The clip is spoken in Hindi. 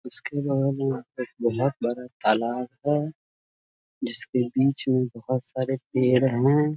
उसके बगल में एक बहुत बड़ा तालाब है जिसके बीच में बहुत सारे पेड़ हैं।